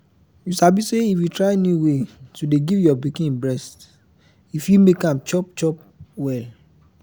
you sabi say if you try new way to dey give your pikin breast e fit make am chop chop well